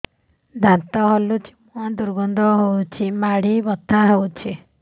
ଦାନ୍ତ ହଲୁଛି ମୁହଁ ଦୁର୍ଗନ୍ଧ ହଉଚି ମାଢି ବଥା ହଉଚି